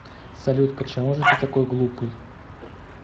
салют почему же ты такой глупый